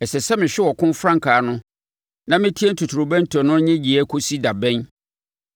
Ɛsɛ sɛ mehwɛ ɔko frankaa no na metie totorobɛnto no nnyegyeeɛ kɔsi da bɛn?